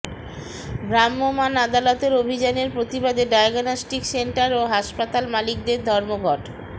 ভ্রাম্যমাণ আদালতের অভিযানের প্রতিবাদে ডায়াগনস্টিক সেন্টার ও হাসপাতাল মালিকদের ধর্মঘট